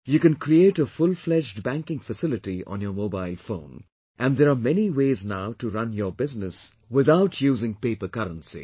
You can create a fullfledged banking facility on your mobile phone and there are many ways now to run our business without using paper currency